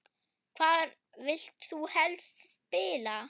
Hvar vilt þú helst spila?